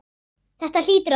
Þetta hlýtur að duga.